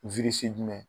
jumɛn